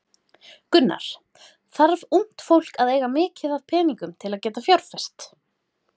Gunnar: Þarf ungt fólk að eiga mikið af peningum til að geta fjárfest?